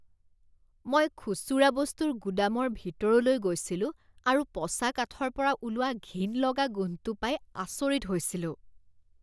মই খুচুৰা বস্তুৰ গুদামৰ ভিতৰলৈ গৈছিলো আৰু পচা কাঠৰ পৰা ওলোৱা ঘিণ লগা গোন্ধটো পাই আচৰিত হৈছিলোঁ।